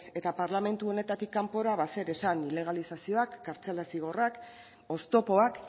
eta parlamentu honetatik kanpora ba zer esan ilegalizazioak kartzela zigorrak oztopoak